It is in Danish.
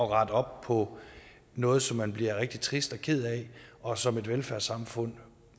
rette op på noget som man bliver rigtig trist og ked af og som et velfærdssamfund